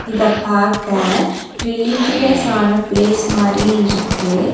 இதப்பாக்க religious ஆன place மாரி இருக்கு.